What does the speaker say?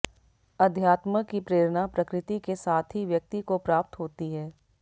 अध्यात्म की प्रेरणा प्रकृति के साथ ही व्यक्ति को प्राप्त होती है